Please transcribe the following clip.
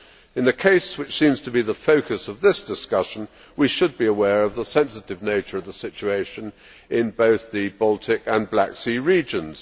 In the case which seems to be the focus of this discussion, we should be aware of the sensitive nature of the situation in both the Baltic and Black Sea regions.